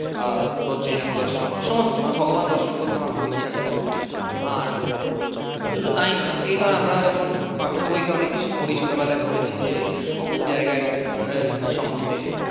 আহ বদ্রিনাথ দর্শন সমস্ত আমার ভগবান দর্শন করতে আমার খুব ইচ্ছা করে। আর শুধু তাই নয় এই ধর আমরা যখন পাঠ্য বইতে অনেক কিছু পড়ি ছোট বেলায় পড়েছি যে, এর অমুক জায়গার ঘোরার সম্বন্ধে।